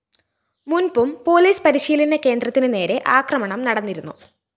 മുന്‍പും police പരിശീലന കേന്ദ്രത്തിനു നേരെ ആക്രമണം നടന്നിരുന്നു